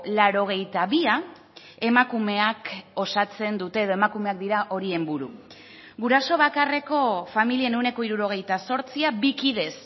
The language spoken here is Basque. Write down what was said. laurogeita bia emakumeak osatzen dute edo emakumeak dira horien buru guraso bakarreko familien ehuneko hirurogeita zortzia bi kidez